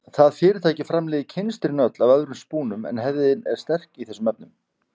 Það fyrirtæki framleiðir kynstrin öll af öðrum spúnum en hefðin er sterk í þessum efnum.